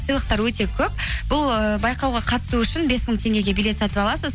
сыйлықтар өте көп бұл ыыы байқауға қатысу үшін бес мың теңгеге билет сатып аласыз